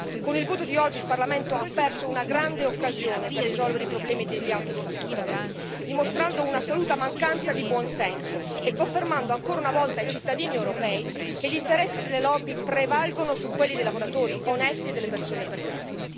Con il voto di oggi il Parlamento ha perso una grande occasione per risolvere i problemi degli autotrasportatori, dimostrando un'assoluta mancanza di buon senso e confermando ancora una volta ai cittadini europei che gli interessi delle lobby prevalgono su quelli dei lavoratori onesti e delle persone perbene.